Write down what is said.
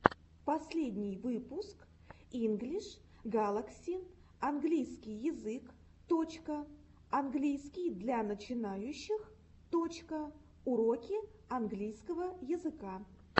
последний выпуск инглиш галакси английский язык точка английский для начинающих точка уроки английского языка